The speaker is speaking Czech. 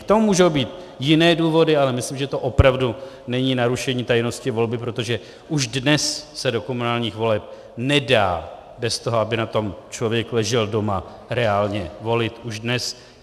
K tomu můžou být jiné důvody, ale myslím, že to opravdu není narušení tajnosti volby, protože už dnes se do komunálních voleb nedá bez toho, aby na tom člověk ležel doma, reálně volit už dnes.